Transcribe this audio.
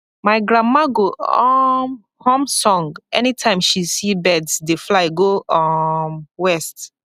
my grandma go um hum song anytime she see birds dey fly go um west